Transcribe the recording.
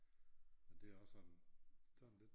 Men det er også sådan sådan lidt